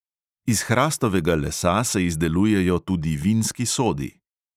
Iz hrastovega lesa se izdelujejo tudi vinski sodi.